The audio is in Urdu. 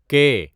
کے